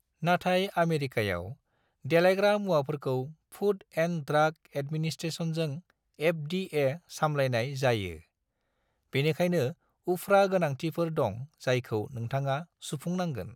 नाथाय आमेरिकायाव, देलायग्रा मुवाफोरखौ फुड एन्ड ड्राग एडमिनिस्ट्रेशनजों (एफ.डी.ए.) सामलायनाय जायो, बेनिखायनो उफ्रा गोनांथिफोर दं जायखौ नोंथाङा सुफुंनांगोन।